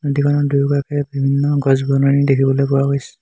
নদীখনৰ দুয়োকাষে বিভিন্ন গছ-বননি দেখিবলৈ পোৱা গৈছে।